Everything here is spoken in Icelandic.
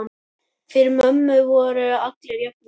Fyrir mömmu voru allir jafnir.